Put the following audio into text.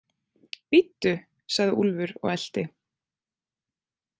Bíddu, sagði Úlfur og elti.